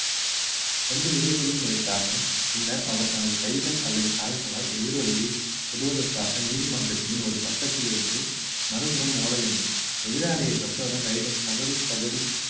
எந்த இடைவெளியும் எடுக்காமல் பின்னர் அவர் தனது கைகள் அல்லது கால்களால் எதிராலியை தொடுவதற்காக நீதிமன்றத்தின் ஒரு பக்கத்திலிருந்து மறுபுறம் ஓட வேண்டும் எதிராளியை தொட்ட உடனே raider கபடி கபடி